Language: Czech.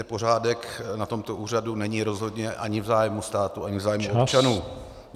Nepořádek na tomto úřadu není rozhodně ani v zájmu státu, ani v zájmu občanů.